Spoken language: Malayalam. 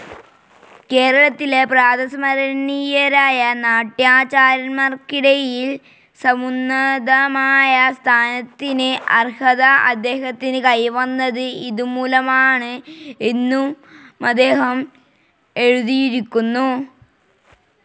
കേരളത്തിലെ പ്രാതസ്മരണീയരായ നാട്യാചാര്യന്മാർക്കിടയിൽ സമുന്നതമായ സ്ഥാനത്തിന് അർഹത അദ്ദേഹത്തിന് കൈവന്നത് ഇതുമൂലമാണ് എന്നുമദ്ദേഹം എഴുതിയിരിക്കുന്നു.